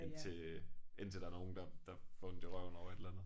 Indtil øh indtil der nogen der der får ondt i røven over et eller andet